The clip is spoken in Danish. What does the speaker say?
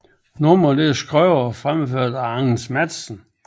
Nummeret er skrevet og fremført af Anders Matthesen